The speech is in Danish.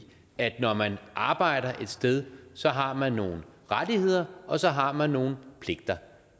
at når man arbejder et sted så har man nogle rettigheder og så har man nogle pligter